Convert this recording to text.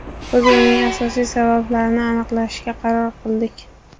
Biz uning asosiy sabablarini aniqlashga qaror qildik.